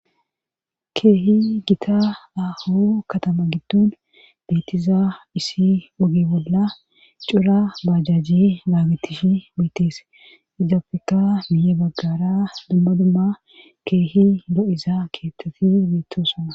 Keehi gita aho katama giddun beetiza isi ogi bolla cura bajajji naagitishi beetees idapfeka miye baggara dumma dumma keehi lo7iza keetteti beettoosana.